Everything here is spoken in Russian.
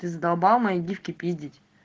ты задолбал мои диски пиздить